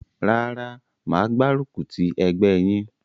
Rárá mà á gbárùkù ti ẹgbẹ́ yín.